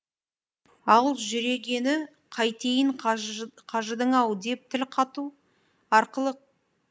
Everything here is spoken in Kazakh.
ал жүрегіне қайтейін қажыдың ау деп тіл қату арқылы қытықтаған